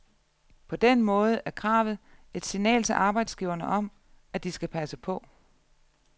På den måde er kravet et signal til arbejdsgiverne om, at de skal passe på.